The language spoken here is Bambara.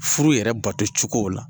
Furu yɛrɛ bato cogow la.